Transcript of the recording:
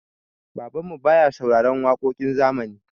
Babanmu baya sauraron waƙoƙin zamani.